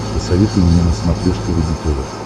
посоветуй мне на смотрешке рубль тв